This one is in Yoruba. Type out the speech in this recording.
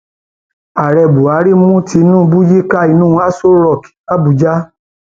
ààrẹ buhari mú tinubu yíká inú aṣọ rock làbújá